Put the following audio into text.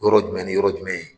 Yɔrɔ jumɛn ni yɔrɔ jumɛn.